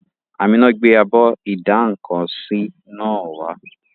Àmíná gbé abọ́ ìdá-nǹkan-sí náà wá